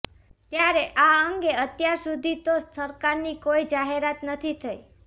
ત્યારે આ અંગે અત્યાર સુધી તો સરકારની કોઇ જાહેરાત નથી થઇ